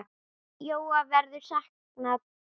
Jóa verður saknað.